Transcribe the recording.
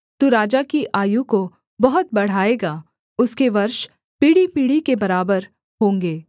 तू राजा की आयु को बहुत बढ़ाएगा उसके वर्ष पीढ़ीपीढ़ी के बराबर होंगे